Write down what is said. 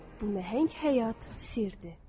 Bu nəhəng həyat sirdir.